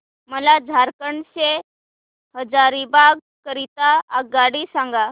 मला झारखंड से हजारीबाग करीता आगगाडी सांगा